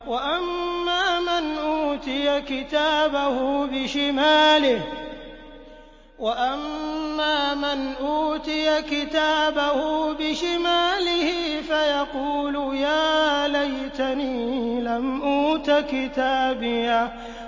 وَأَمَّا مَنْ أُوتِيَ كِتَابَهُ بِشِمَالِهِ فَيَقُولُ يَا لَيْتَنِي لَمْ أُوتَ كِتَابِيَهْ